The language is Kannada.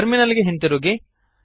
ಟರ್ಮಿನಲ್ ಗೆ ಹಿಂದಿರುಗಿರಿ